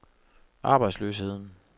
arbejdsløsheden